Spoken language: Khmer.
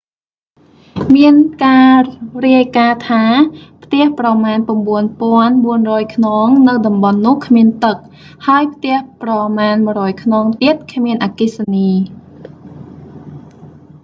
មានការរាយការណ៍ថា ផ្ទះប្រមាណ 9400 ខ្នងនៅតំបន់នោះគ្មានទឹក ហើយផ្ទះប្រមាណ 100 ខ្នងទៀតគ្មានអគ្គិសនី